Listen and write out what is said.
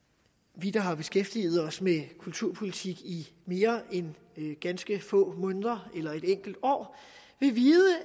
vi der har beskæftiget os med kulturpolitik i mere end ganske få måneder eller et enkelt år vil vide